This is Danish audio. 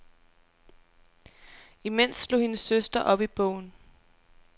Imens slog hendes søster op i bogen.